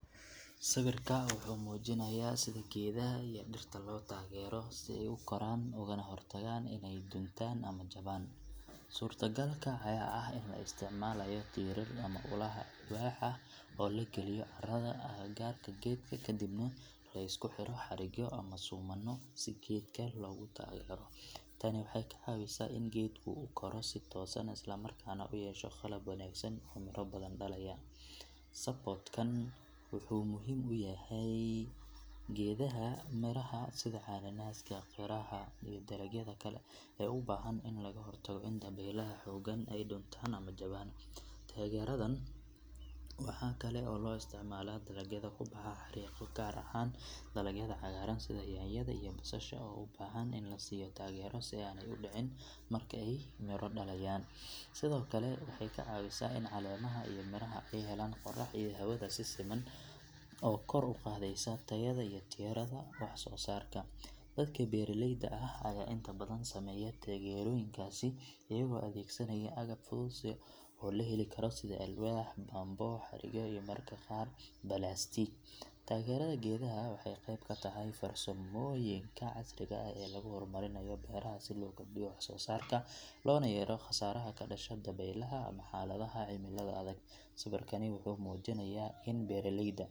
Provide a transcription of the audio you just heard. Sawirka wuxuu muujinayaa sida geedaha iyo dhirta loo taageero si ay u koraan ugana hortagaan inay duntaan ama jabaan. Suurtagalka ayaa ah in la isticmaalayo tiirar ama ulaha alwaax ah oo la geliyo carrada agagaarka geedka kadibna la isku xiro xarigyo ama suumanno si geedka loogu taageero. Tani waxay ka caawisaa in geedku u koro si toosan isla markaana u yeesho qaab wanaagsan oo miro badan dhalaya. Support kan wuxuu muhiim u yahay geedaha miraha sida cananaaska, qira, iyo dalagyada kale ee u baahan in laga hortago in dabaylaha xooggan ay duntaan ama jabeen. Taageeradan waxaa kale oo loo isticmaalaa dalagyada ku baxa xarriiqyo, gaar ahaan dalagyada cagaaran sida yaanyada iyo basasha oo u baahan in la siiyo taageero si aanay u dhicin marka ay miro dhalayaan. Sidoo kale waxay ka caawisaa in caleemaha iyo miraha ay helaan qorrax iyo hawada si siman taas oo kor u qaadaysa tayada iyo tirada wax soo saarka. Dadka beeraleyda ah ayaa inta badan sameeya taageerooyinkaasi iyagoo adeegsanaya agab fudud oo la heli karo sida alwaax, bamboo, xarigyo iyo mararka qaar balaastiig. Taageerada geedaha waxay qeyb ka tahay farsamooyinka casriga ah ee lagu horumarinayo beeraha si loo kordhiyo wax soo saarka loona yareeyo khasaaraha ka dhasha dabaylaha ama xaaladaha cimilada adag. Sawirkani wuxuu muujinayaa in beeraleyda.